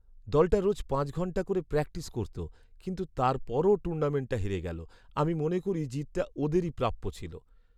দলটা রোজ পাঁচ ঘন্টা করে প্র্যাকটিস করত, কিন্তু তারপরও টুর্নামেন্টটা হেরে গেল। আমি মনে করি জিতটা ওদেরই প্রাপ্য ছিল।